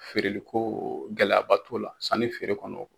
Feereliko gɛlɛyaba t'u la sanni feere kɔnɔ.